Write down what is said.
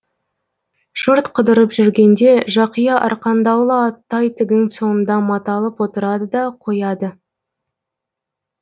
жұрт қыдырып жүргенде жақия арқандаулы аттай тігін соңында маталып отырады да қояды